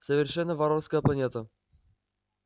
совершенно варварская планета